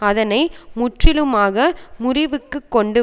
அதனை முற்றிலுமாக முறிவுக்குக் கொண்டு